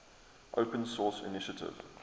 open source initiative